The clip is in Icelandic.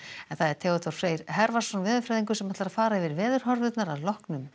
Theodór Freyr veðurfræðingur ætlar að fara yfir veðurhorfurnar að loknum